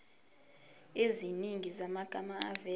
eziningi zamagama avela